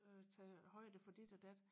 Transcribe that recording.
øh tage højde for dit og dat